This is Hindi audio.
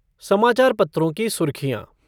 समाचार पत्रों की सुर्खियाँ